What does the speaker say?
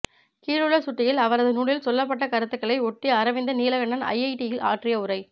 கீழுள்ள சுட்டியில் அவரது நூலில் சொல்லப்பட்ட கருத்துக்களை ஒட்டி அரவிந்தன் நீலகண்டன் ஐஐடியில் ஆற்றிய உரை